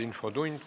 Infotund.